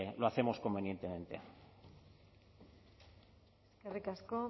lo hacemos convenientemente eskerrik asko